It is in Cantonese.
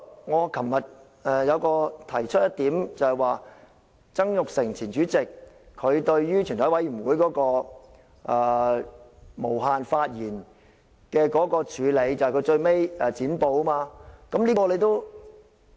我昨天提出一點，便是前主席曾鈺成對於全體委員會無限發言的處理方法，便是最後"剪布"。